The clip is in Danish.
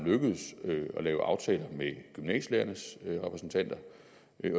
lykkedes at lave aftaler med gymnasielærernes repræsentanter